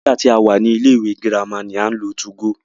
Nígbà tí a wà ní ilé ìwé girama ni à ń lo 2go.